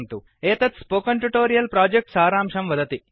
एतत् spoken tutorial project सारांशं वदति